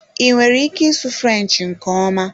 I nwere ike ịsụ French nke ọma?